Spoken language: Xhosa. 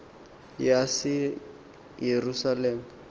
yaseyerusalem